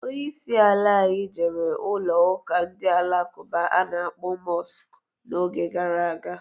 Onye isi ala anyị jere ụlọụka ndị Alakụba a na-akpọ Mọsk n'oge gara aga.